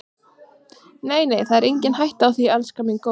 Nei, nei, það er engin hætta á því, elskan mín góða.